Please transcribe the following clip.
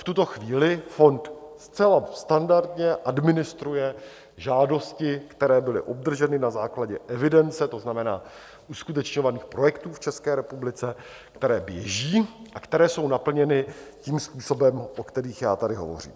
V tuto chvíli fond zcela standardně administruje žádosti, které byly obdrženy na základě evidence, to znamená uskutečňovaných projektů v České republice, které běží a které jsou naplněny tím způsobem, o kterých já tady hovořím.